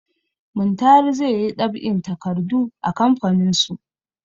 Muntari zai yi ɗab'in takardu a kamfaninsu.